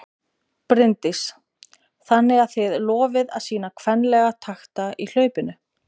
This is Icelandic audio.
Bryndís: Þannig að þið lofið að sýna kvenlega takta í hlaupinu?